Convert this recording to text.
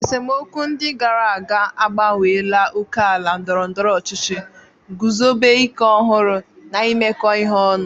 Esemokwu ndị gara aga agbanweela ókèala ndọrọ ndọrọ ọchịchị, guzobe ike ọhụrụ, na imekọ ihe ọnụ.